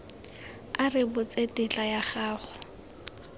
a rebotse tetla ya go